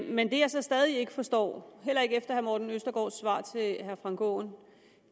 men det jeg så stadig ikke forstår heller ikke efter herre morten østergaards svar til herre frank aaen